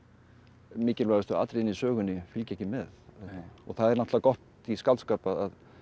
mikilvægustu atriðin í sögunni fylgja ekki með það er náttúrulega gott í skáldskap að